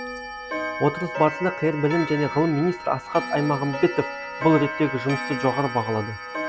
отырыс барысында қр білім және ғылым министрі асхат аймағамбетов бұл реттегі жұмысты жоғары бағалады